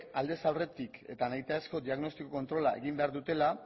aldez aurretik eta nahitaezko diagnostiko kontrola egin behar dutela